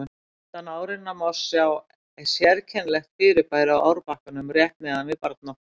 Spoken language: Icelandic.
Handan árinnar má svo sjá sérkennilegt fyrirbæri á árbakkanum rétt neðan við Barnafoss.